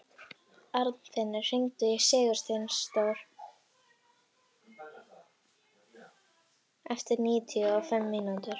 Arnfinnur, hringdu í Sigursteindór eftir níutíu og fimm mínútur.